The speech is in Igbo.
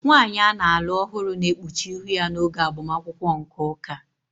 Nwanyị a na-alụ ọhụrụ na-ekpuchi ihu ya n'oge agbamakwụkwọ nke ụka